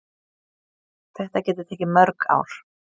Þetta getur tekið mörg ár.